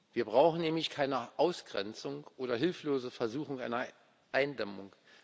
Wir brauchen nämlich keiner Ausgrenzung oder hilflose Versuche einer Eindämmung.